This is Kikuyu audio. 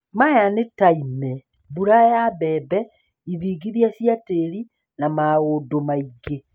Maya nĩ ta ime, mbura ya mbembe, ithingithia cia tĩĩri, na maũndũ mangĩ